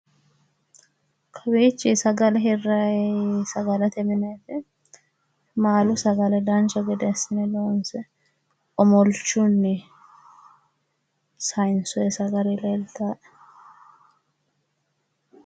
kawiichi sagale hirrayi sagalete mineeti. maalu sagale dancha gede assine loonse omolchunni saayiinsoyi sagale leeltaae.